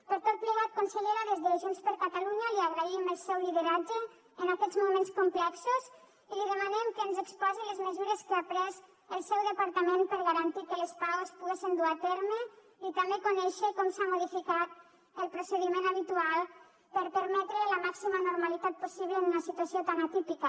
per tot plegat consellera des de junts per catalunya li agraïm el seu lideratge en aquests moments complexos i li demanem que ens exposi les mesures que ha pres el seu departament per garantir que les pau es poguessen dur a terme i també conèixer com s’ha modificat el procediment habitual per permetre la màxima normalitat possible en una situació tan atípica